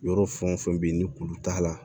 Yɔrɔ fɛn o fɛn bɛ yen ni kuru t'a la